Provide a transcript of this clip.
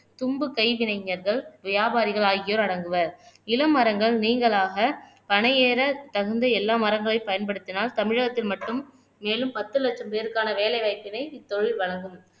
தும்பு கைவினைஞர்கள் வியாபாரிகள் ஆகியோர் அடங்குவர் இளமரங்கள் நீங்களாக பனையேற தகுந்த எல்லா மரங்களையும் பயன்படுத்தினால் தமிழகத்தில் மட்டும் மேலும் பத்து லட்சம் பேருக்கான வேலை வாய்ப்பினை இத்தொழில் வழங்கும்